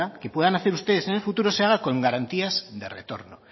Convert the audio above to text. que puedan hacer ustedes en el futuro se haga con garantías de retorno